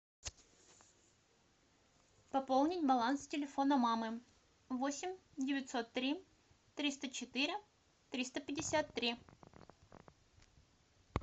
пополнить баланс телефона мамы восемь девятьсот три триста четыре триста пятьдесят три